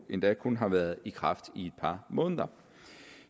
endda kun har været i kraft i et par måneder